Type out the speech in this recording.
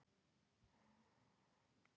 Óttast um íslenska tungu